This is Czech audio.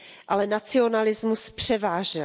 Ale nacionalismus převážil.